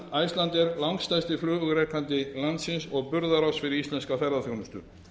enda er icelandair langstærsti flugrekandi landsins og burðarás fyrir íslenska ferðaþjónustu